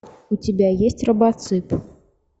у тебя есть робоцып